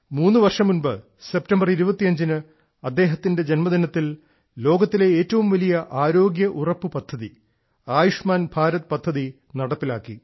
മൂന്നുവർഷം മുൻപ് സെപ്റ്റംബർ 25ന് അദ്ദേഹത്തിന്റെ ജന്മദിനത്തിൽ ലോകത്തിലെ ഏറ്റവും വലിയ ആരോഗ്യ ഉറപ്പ് പദ്ധതി ആയുഷ്മാൻ ഭാരത് പദ്ധതി നടപ്പിലാക്കി